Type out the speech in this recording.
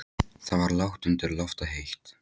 Það var lágt undir loft og heitt.